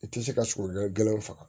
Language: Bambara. I tɛ se ka sogo gɛlɛnw faga